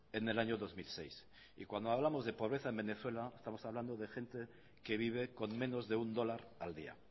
en el año dos mil seis y cuando hablamos de pobreza en venezuela estamos hablando de gente que vive con menos de un dólar al día